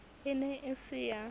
e ne e se ya